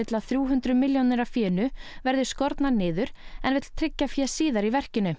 að þrjú hundruð milljónir af fénu verði skornar niður en vill tryggja fé síðar í verkinu